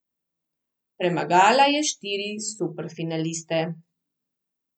Premagala je štiri superfinaliste.